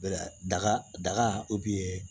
Daga daga